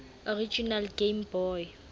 original game boy